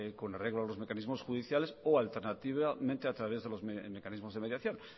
con arreglo a los mecanismos judiciales o alternativamente a través de los mecanismos de mediación